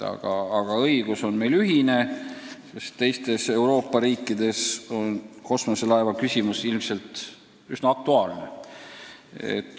Aga õigus on meil ühine ja osas Euroopa riikides on kosmoselaeva küsimus ehk üsna aktuaalne.